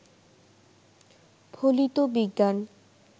ফলিত বিজ্ঞান